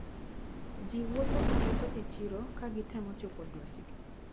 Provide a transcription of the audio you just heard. Ji wuotho kareto e chiro kagitemo chopo dwachgi.